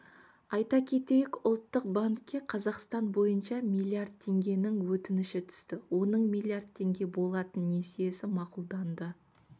айта кетейік ұлттық банкке қазақстан бойынша миллиард теңгенің өтініші түсті оның миллиард теңге болатын несиесі мақұлданды